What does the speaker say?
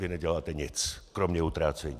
Vy neděláte nic, kromě utrácení!